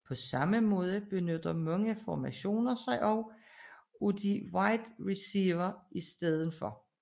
På samme måde benytter mange formationer sig også af en wide receiver i stedet